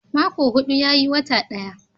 Mako hudu yayi wata ɗaya